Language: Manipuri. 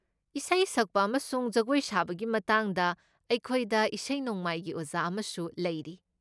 ꯏꯁꯩ ꯁꯛꯄ ꯑꯃꯁꯨꯡ ꯖꯒꯣꯏ ꯁꯥꯕꯒꯤ ꯃꯇꯥꯡꯗ, ꯑꯩꯈꯣꯏꯗ ꯏꯁꯩ ꯅꯣꯡꯃꯥꯏꯒꯤ ꯑꯣꯖꯥ ꯑꯃꯁꯨ ꯂꯩꯔꯤ꯫